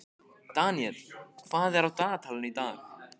Daniel, hvað er á dagatalinu í dag?